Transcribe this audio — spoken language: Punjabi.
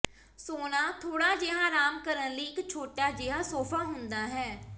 ਸੋਹਣਾ ਥੋੜਾ ਜਿਹਾ ਆਰਾਮ ਕਰਨ ਲਈ ਇੱਕ ਛੋਟਾ ਜਿਹਾ ਸੋਫਾ ਹੁੰਦਾ ਹੈ